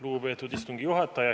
Lugupeetud istungi juhataja!